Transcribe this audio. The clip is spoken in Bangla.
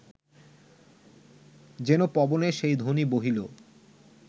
যেন পবনে সেই ধ্বনি বহিল